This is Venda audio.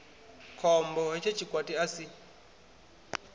khombo hetsho tshikwati a si